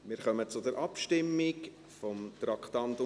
Wir kommen zur Abstimmung bei Traktandum 62.